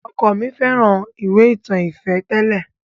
Ọkọ mi fẹ́ràn ìwé ìtàn ìfẹ́ tẹ́lẹ̀.